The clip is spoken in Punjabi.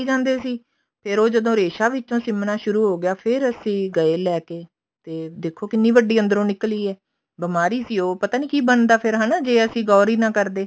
ਜਾਂਦੇ ਸੀ ਫੇਰ ਉਹ ਰੇਸ਼ਾ ਵਿੱਚੋਂ ਸਿਮਣਾ ਸ਼ੁਰੂ ਹੋਗਿਆ ਫੇਰ ਅਸੀਂ ਗਏ ਲੇਕੇ ਦੇਖੋ ਕਿੰਨੀ ਵੱਡੀ ਅੰਦਰੋਂ ਨਿਕਲੀ ਹੈ ਬਿਮਾਰੀ ਸੀ ਉਹ ਪਤਾ ਨੀ ਕਿ ਬਣਦਾ ਫੇਰ ਹਨਾ ਜੇ ਅਸੀਂ ਗੋਰ ਹੀ ਨਾ ਕਰਦੇ